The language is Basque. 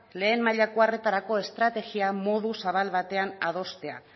lehen mailako arretarako estrategia modu zabal batean adostea